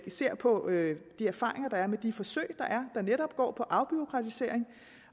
ser på de erfaringer der er med de forsøg er som netop går på afbureaukratisering